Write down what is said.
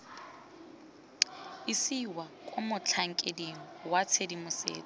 isiwa kwa motlhankeding wa tshedimosetso